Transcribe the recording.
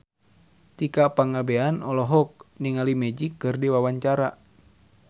Tika Pangabean olohok ningali Magic keur diwawancara